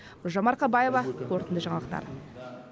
гүлжан марқабаева қорытынды жаңалықтар